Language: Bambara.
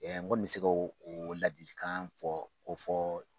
N kɔni bɛ se ka o ladikan fɔ k'o fɔ